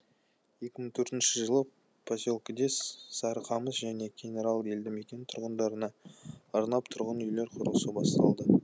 екі мың төртінші жылы поселкеде сарықамыс және кеңарал елді мекен тұрғындарына арнап тұрғын үйлер құрылысы басталды